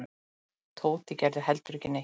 Tóti gerði ekki heldur neitt.